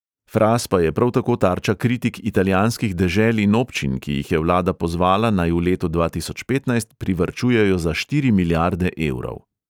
Fras pa je prav tako tarča kritik italijanskih dežel in občin, ki jih je vlada pozvala, naj v letu dva tisoč petnajst privarčujejo za štiri milijarde evrov.